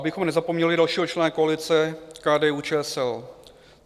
Abychom nezapomněli dalšího člena koalice, KDU-ČSL.